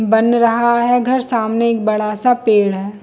बन रहा है घर सामने एक बड़ा- सा पेड़ है।